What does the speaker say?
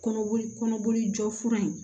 Kɔnɔboli kɔnɔboli jɔ fura in